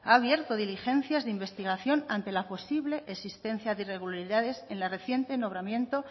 ha abierto diligencias de investigación ante la posible existencia de irregularidades en el reciente nombramiento